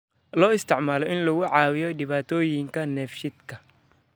Loo isticmaalo in lagu caawiyo dhibaatooyinka dheefshiidka.